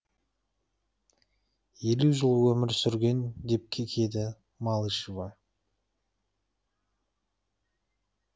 елу жыл өмір сүрген деп кекеді малышева